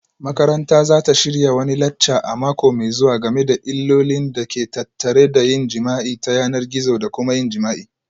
Makaranta za ta shirya wani lacca a mako mai zuwa game da illolin da ke tattare da yin jima'i ta yanar gizo da kuma yin jima'i